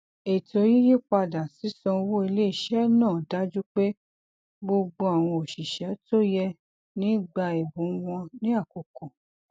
ìṣàkóso ètò ìsúná ilé pẹlú àwọn mọlẹbí sábà máa ń bẹrẹ pẹlú ìbánisọrọ gbangba àti àdéhùn